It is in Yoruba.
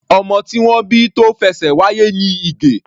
Ọmọ tí wọ́n bí tó fẹṣẹ̀ wáyé ni Ige.